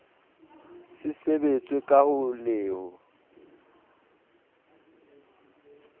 se sebetswe ka le ho